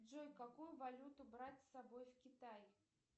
джой какую валюту брать с собой в китай